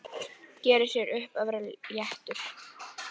Gerir sér upp að vera léttur.